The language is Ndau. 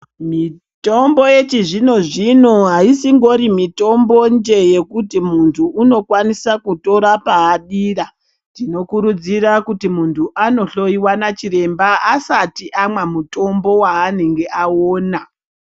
Mitombo yechizvino zvino aisimbori mitombo njee yekuti muntu unokwanisa kutora paadira. Tinokurudzira kuti muntu anohloiwa nachiremba asati amwa mutombo waanenge aona.